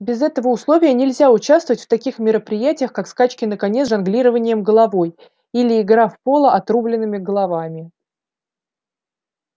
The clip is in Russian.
без этого условия нельзя участвовать в таких мероприятиях как скачки на коне с жонглированием головой или игра в поло отрубленными головами